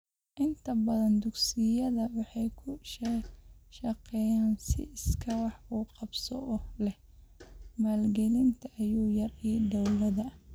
Inta badan dugsiyada waxay ku shaqeeyaan si iskaa wax u qabso ah oo leh maalgelinta ugu yar ee dawladda.